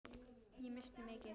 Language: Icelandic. Ég missti mikið.